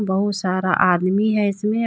बहुत सारा आदमी है इसमें।